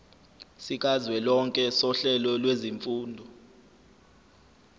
sikazwelonke sohlelo lwezifundo